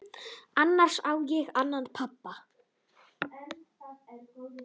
Annars á ég annan pabba.